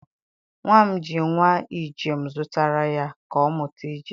nwa m ji nwa ije m zụtara ya, ka ọ mụta ije.